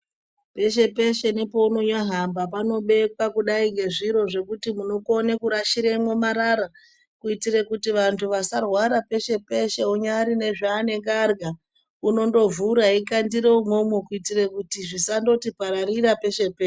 Peshe peshe nepeunonyahamba panobekwa kudai nezviro zvekuti munokone kurashire mwomarara kuitire kuti vantu vasarwara peshe peshe unyari nezvaanenge arya unondovhura eikandire umwomwo kuitire kuti zvisandoti pararira peshe peshe.